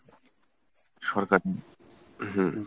সরকার হুম